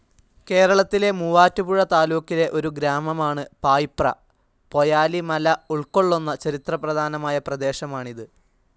കേരളത്തിലെ മൂവാറ്റുപുഴ താലൂക്കിലെ ഒരു ഗ്രാമമാണ്‌ പായിപ്ര. പൊയാലി മല ഉൾക്കൊള്ളുന്ന ചരിത്ര പ്രധാനമയ പ്രദേശമാണിത്.